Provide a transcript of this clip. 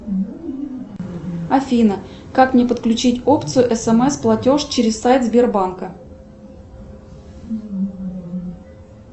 афина как мне подключить опцию смс платеж через сайт сбербанка